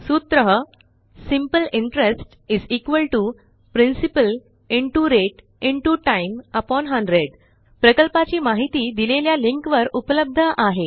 सूत्र simple interest principal rate time 100 प्रकल्पाची माहिती दिलेल्या लिंकवर उपलब्ध आहे